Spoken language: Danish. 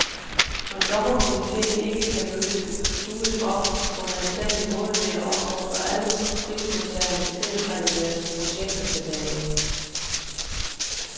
Når dommerkomiteen ikke kan løse knuden op på en anstændig måde, vil jeg opfordre alle prismodtagerne til at trække deres projekter tilbage.